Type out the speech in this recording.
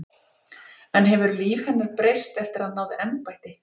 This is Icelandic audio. En hefur líf hennar breyst eftir að hann náði embætti?